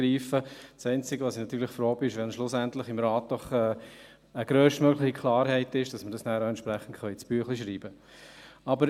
Das einzige, worüber ich natürlich froh bin, ist, wenn schlussendlich im Rat doch eine grösstmögliche Klarheit darüber besteht, damit wir dies auch entsprechend ins Büchlein schreiben können.